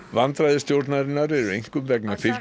vandræði stjórnarinnar eru einkum vegna